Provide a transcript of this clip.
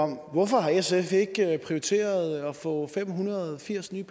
hvorfor har sf ikke prioriteret at få fem hundrede og firs nye